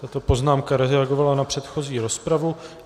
Tato poznámka reagovala na předchozí rozpravu.